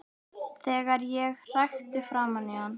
Þegar ég hrækti framan í hann.